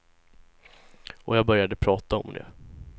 Och jag började prata om det.